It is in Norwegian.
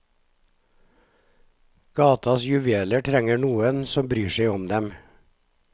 Gatas juveler trenger noen som bryr seg om dem.